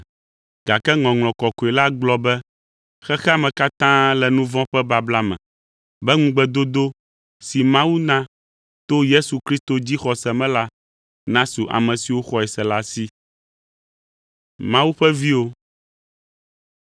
Gake Ŋɔŋlɔ Kɔkɔe la gblɔ be xexea me katã le nu vɔ̃ ƒe babla me, be ŋugbedodo si Mawu na to Yesu Kristo dzixɔse me la nasu ame siwo xɔe se la si.